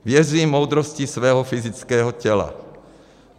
Věřím moudrosti svého fyzického těla.